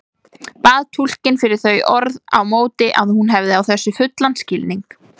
Bað túlkinn fyrir þau orð á móti að hún hefði á þessu fullan skilning.